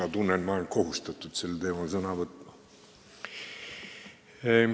Ma tunnen, et ma olen lausa kohustatud sel teemal sõna võtma.